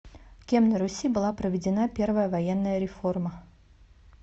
кем на руси была проведена первая военная реформа